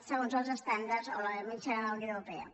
segons els estàndards o la mitjana de la unió europea